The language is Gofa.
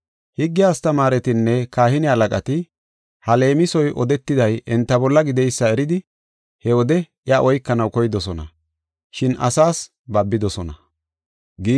Higge astamaaretinne kahine halaqati ha leemisoy odetiday enta bolla gideysa eridi he wode iya oykanaw koydosona, shin asaas babidosona.